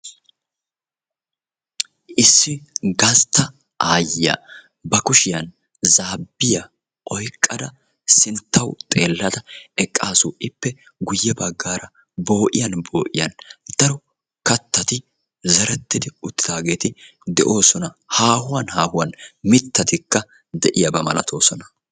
issi gastta aayyiya ba kushiyan zaabiya oyqqada sinttaw xeelada eqqaasu ippe guuyye baggara bo"iyaan bo"iyaan kattati zereti uttidageeti de'oossona haahuwan haahuwan mittatikka de'oossona